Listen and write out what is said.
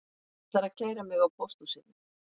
Hann ætlar að kæra mig á pósthúsinu